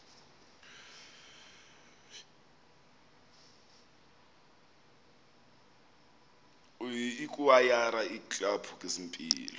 ikwayara iiklabhu zempilo